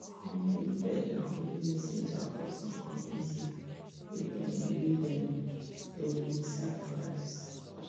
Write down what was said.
hornbill bird nah holy messenger for some community wey dem wey dem inside forest